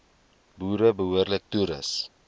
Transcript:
boere behoorlik toerus